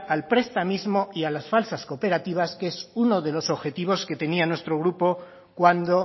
al prestamismo y a las falsas cooperativas que es uno de los objetivos que tenía nuestro grupo cuando